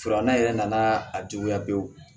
Filanan yɛrɛ nana a juguya pewu